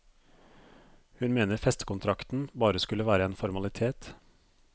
Hun mener festekontrakten bare skulle være en formalitet.